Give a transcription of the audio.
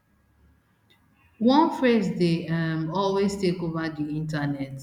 one phrase dey um always take ova di internet